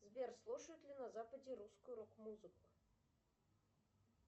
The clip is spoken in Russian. сбер слушают ли на западе русскую рок музыку